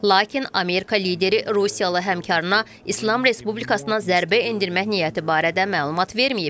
Lakin Amerika lideri rusiyalı həmkarına İslam Respublikasına zərbə endirmək niyyəti barədə məlumat verməyib.